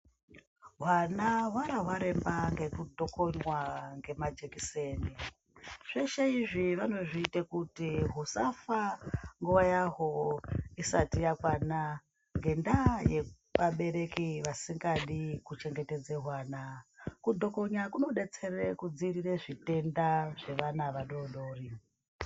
Vana warawaremba ngekutokonywa ngemajekiseni zveshe izvi vanozviite kuti husafa nguwa yahwo isati yakwana ngenda yevabereki vasingadi kuchengetedze hwana kutokonya kunodetsere kudziirire zvitenda zvevana vadodori.